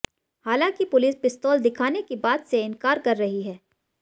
हालांकि पुलिस पिस्तौल दिखाने की बात से इंकार कर रही है